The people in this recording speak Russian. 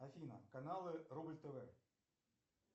афина каналы рубль тв